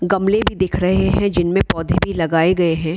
गमले भी दिख रहे हैं जिनमे पौधे भी लगाए गए हैं |